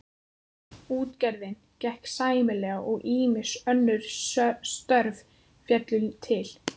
Útgerðin gekk sæmilega og ýmis önnur störf féllu til.